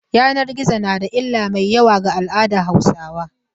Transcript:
Yanan gizo na da illar mai yawa ga al'aadar Hausawa.